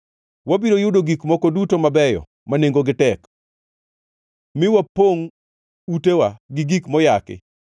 wabiro yudo gik moko duto mabeyo ma nengogi tek, mi wapongʼ utewa gi gik moyaki.